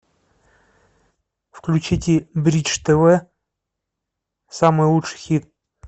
включите бридж тв самый лучший хит